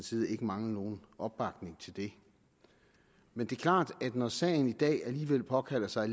side ikke mangle nogen opbakning til det men det er klart at når sagen i dag alligevel påkalder sig